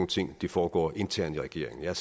ting foregår internt i regeringen jeg